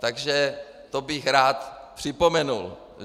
Takže to bych rád připomenul.